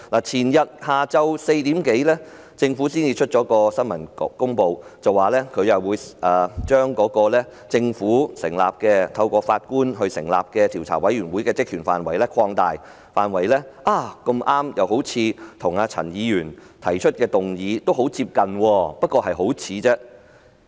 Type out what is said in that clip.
前天下午4時多，政府發出新聞公報，表示會把由政府委任並由法官擔任主席的獨立調查委員會的職權範圍擴大，恰巧與陳議員提出的議案內容很相近，但只是很相似而已。